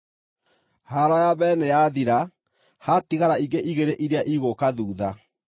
Haaro ya mbere nĩyathira; haatigara ingĩ igĩrĩ iria igũũka thuutha.